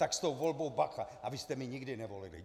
Tak s tou volbou bacha, abyste mě nikdy nevolili!